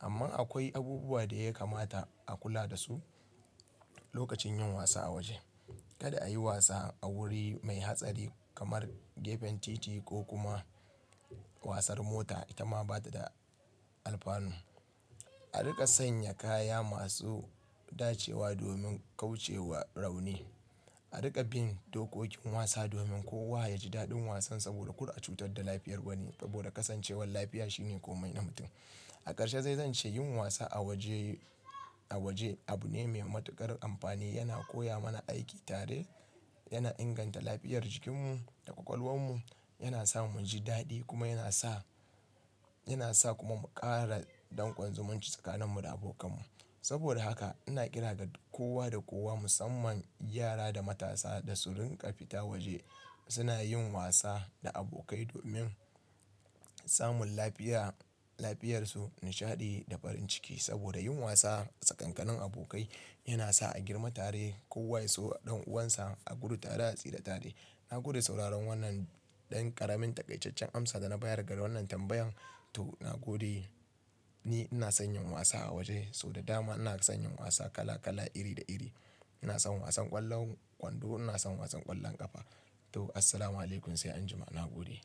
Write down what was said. Amma akwai abubuwa da ya kamata a kula da su lokacin yin wasa a waje. Kada a yi wasa a wuri mai hatsari, kamar gefen titi, ko kuma wasar mota, ita ma ba ta da alfanu. A riƙa sanya kaya masu dacewa domin kauce wa rauni. A riƙa bin dokokin wasa domin kowa ya ji daɗin wasan, saboda ƙur a cutar da lafiyar wani, saboda kasancewar lafiya shine komai na mutum. A ƙarshe dai zan ce yin wasa a waje, a waje abu ne mai matuƙar amfani. Yana koya mana aiki tare, yana inganta lafiyar jikinmu da ƙwaƙwalwar mu, yana sa mu ji daɗi kuma yana sa, yana sa kuma ƙara danƙon zumunci tsakanin mu da abokan mu. Saboda haka, ina kira da kowa da kowa musamman yara da matasa da su rinƙa fita waje. Suna yin wasa da abokai domin samun lafiya, lafiyarsu, nishaɗi da farin ciki. Saboda yin wasa tsakankanin abokai, yana sa a girma tare, kowa ya so ɗan uwansa, a gudu tare a tsire tare. Na gode da sauraron wannan ɗan ƙaramin taƙaiceccen amsa da na bayar ga wannan tambayan. To, na gode. Ni ina son yin wasa a waje, sau da dama ina son yin wasa kala-kala, iri da iri. Ina son wasan ƙwallon kwando, ina son wasan ƙwallon ƙafa. Toh, Assalamualaikum sai anjima. Na gode.